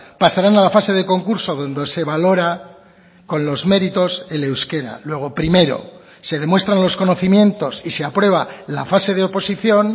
pasarán a la fase de concurso donde se valora con los méritos el euskera luego primero se demuestran los conocimientos y se aprueba la fase de oposición